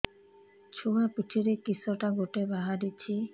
ଛୁଆ ପିଠିରେ କିଶଟା ଗୋଟେ ବାହାରିଛି